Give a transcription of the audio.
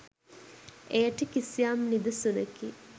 එයට කිසියම් නිදසුනකි.